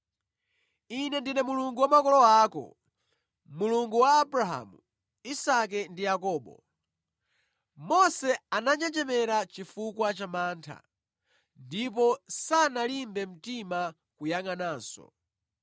‘Ine ndine Mulungu wa makolo ako, Mulungu wa Abrahamu, Isake ndi Yakobo.’ Mose ananjenjemera chifukwa cha mantha ndipo sanalimbe mtima kuyangʼananso.